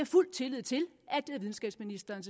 fuld tillid til at videnskabsministeren